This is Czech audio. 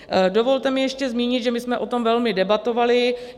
Dovolte mi ještě zmínit, že my jsme o tom velmi debatovali.